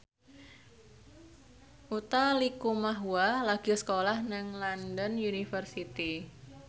Utha Likumahua lagi sekolah nang London University